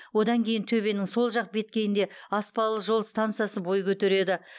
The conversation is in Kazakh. одан кейін төбенің сол жақ беткейінде аспалы жол стансасы бой көтереді